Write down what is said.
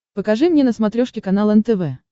покажи мне на смотрешке канал нтв